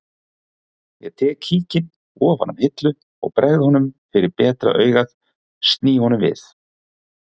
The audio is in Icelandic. Ég tek kíkinn ofan af hillu og bregð honum fyrir betra augað sný honum við